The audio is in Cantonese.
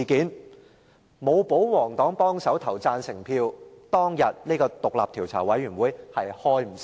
如果沒有保皇黨幫忙投下贊成票，當天便無法成立專責委員會。